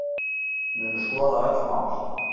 Munu skoða öll mál